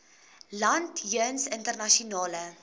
land jeens internasionale